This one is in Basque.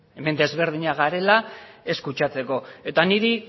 hemen desberdinak garela ez kutsatzeko eta niri